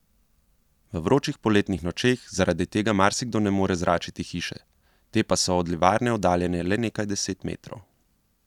V vročih poletnih nočeh zaradi tega marsikdo ne more zračiti hiše, te pa so od livarne oddaljene le nekaj deset metrov.